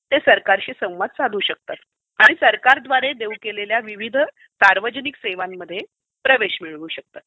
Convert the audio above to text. ते सरकारशी संवाद साधू शकतात आणि सरकारद्वारे देऊ केलेल्या विविष सार्वजनिक सेवांमध्ये प्रवेश मिळवू शकतात.